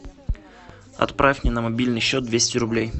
отправь мне на мобильный счет двести рублей